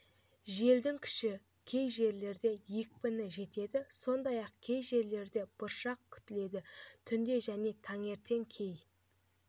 желдің күші кей жерлерде екпіні жетеді сондай-ақ кей жерлерде бұршақ күтіледі түнде және таңертең кей